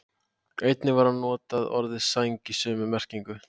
Einnig var notað orðið sæng í sömu merkingu.